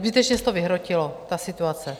Zbytečně se to vyhrotilo, ta situace.